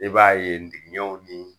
E b'a ye ntigiɲɛw ni